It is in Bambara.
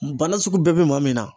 Bana sugu bɛɛ bɛ maa min na.